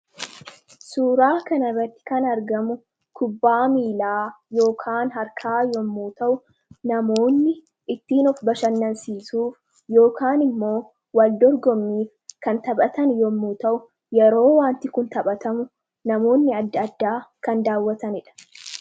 suuraa kanarratti kan argamu kubbaa miilaa ykaan harkaa yommuu ta'u namoonni ittiin of bashannansiisuuf yookaan immoo wal dorgommiif kan taphatan yommuu ta'u yeroo wanti kun taphatamu namoonni adda addaa kan daawwatanidha